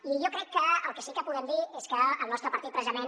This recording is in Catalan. i jo crec que el que sí que podem dir és que el nostre partit precisament